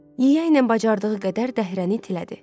Yeyay ilə bacardığı qədər dəhrəni itilədi.